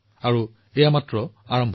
আৰু এইটো মাত্ৰ আৰম্ভণি